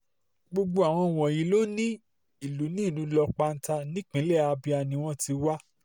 gbogbo àwọn um wọ̀nyí ló ní ìlú ní ìlú um lok panta nípínlẹ̀ abia ni wọ́n ti wá